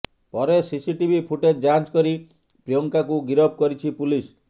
ପରେ CCTV footage ଯାଞ୍ଚ କରି ପ୍ରିୟଙ୍କାଙ୍କୁ ଗିରଫ କରିଛି ପୁଲିସ୍